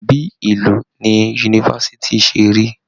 Bíí ìlú ní yunifásítì ṣe rí.